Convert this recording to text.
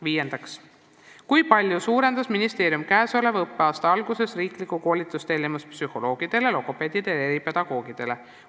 Viies küsimus: "Kui palju suurendas ministeerium käesoleva õppeaasta alguses riiklikku koolitustellimust psühholoogidele, logopeedidele ja eripedagoogidele?